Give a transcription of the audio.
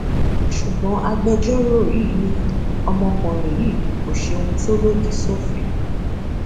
ṣùgbọn agbẹjọrò yìí ni ọmọkùnrin yìí kò ṣe ohun tó lòdì sófin